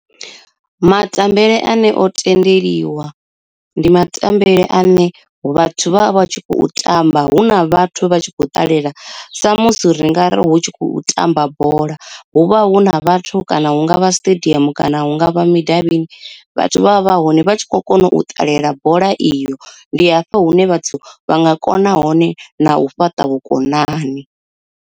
Matambele ane o tendeliwa, ndi matambele ane vhathu vha vha tshi khou tamba hu na vhathu vha tshi khou ṱalela sa musi ri nga ri hu tshi khou tamba bola, hu vha hu na vhathu kana hungavha stadium kana hungavha midavhini vhathu vha vha hone vha tshi kho kona u ṱalela bola iyo ndi hafha hune vhathu vha nga kona hone na u fhaṱa vhukonani.